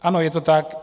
Ano, je to tak.